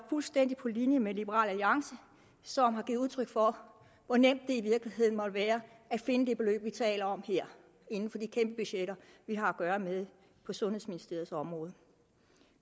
fuldstændig på linje med liberal alliance som har givet udtryk for hvor nemt det i virkeligheden må være at finde det beløb vi taler om her inden for de kæmpe budgetter vi har at gøre med på sundhedsministeriets område